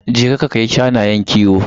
Je ka ka kai shanayen kiwo.